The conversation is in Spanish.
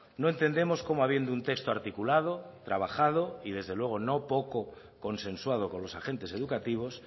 no entendemos cómo habiendo un texto articulado trabajado y desde luego no poco consensuado con los agentes educativos